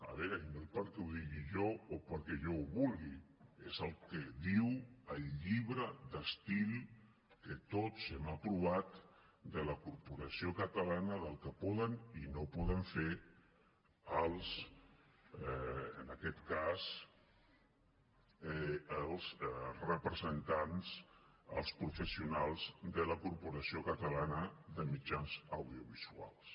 a veure i no perquè ho digui jo o perquè jo ho vulgui és el que diu el llibre d’estil que tots hem aprovat de la corporació catalana del que poden i no poden fer en aquest cas els representants els professionals de la corporació catalana de mitjans audiovisuals